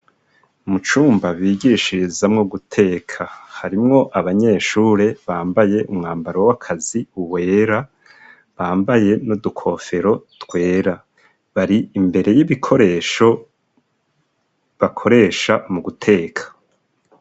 Mu cumba bigishirizamwo guteka, harimwo abanyeshure bambaye umwambaro w'akazi wera, bambaye n'udukofero twera. Bari imbere y'ibikoresho bakoresha mu guteka.